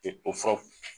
o fura